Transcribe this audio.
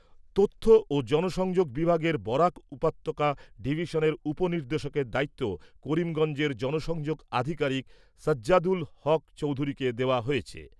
তথ্য ও জনসংযোগ বিভাগের বরাক উপত্যকা ডিভিশনের উপ নির্দেশকের দায়িত্ব করিমগঞ্জের জনসংযোগ আধিকারিক সাজ্জাদুল হক চৌধুরীকে দেওয়া হয়েছে।